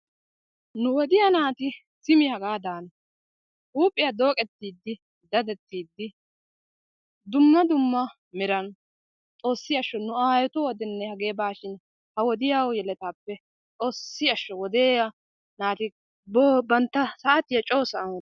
Nu wodiyaa naati simi hagadana, huuphiyaa dooqettidi daddettidi dumma dumma meran xoossi ashsho nu aayyetu wodiyaanne hagee bawashin xoossi ashsho wodiyaa naati bantta saatiyaa coo sa'aa,..